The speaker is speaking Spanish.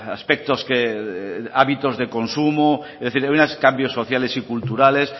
aspectos que hábitos de consumo es decir hay unos cambios sociales y culturales